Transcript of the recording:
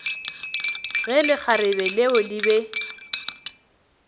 ge lekgarebe leo le be